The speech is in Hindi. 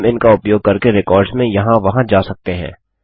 हम इनका उपयोग करके रिकार्ड्स में यहाँ वहां जा सकते हैं